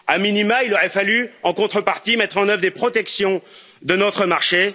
A minima, il aurait fallu, en contrepartie, mettre en œuvre des protections de notre marché.